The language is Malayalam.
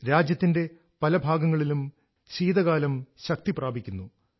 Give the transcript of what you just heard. രാജ്യത്തിന്റെ പല ഭാഗങ്ങളിലും ശീതകാലം ശക്തി പ്രാപിക്കുന്നു